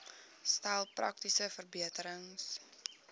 stel praktiese verbeterings